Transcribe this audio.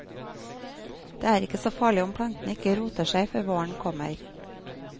Det er ikke så farlig om plantene ikke roter seg før våren kommer.